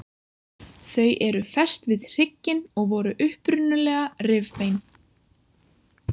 Þau eru fest við hrygginn og voru upprunalega rifbein.